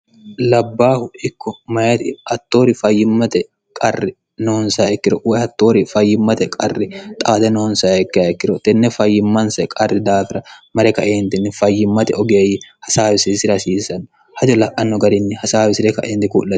labbaahu ikko mayiti attoori fayyimmate qarri noonsaaikkiro woye attoori fayyimmate qarri xaade noonsayikki hayikkiro tenne fayyimmanse qarri daafira mare kaeentinni fayyimmate ogeeyyi hasaawisi sirasiisanno hajo la'anno garinni hasaawisire kaenti kuu'an